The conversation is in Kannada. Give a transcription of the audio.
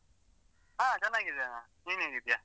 ಹಾ ಚನ್ನಾಗಿದ್ದೇನಾ, ನೀನೇಗಿದ್ಯಾ?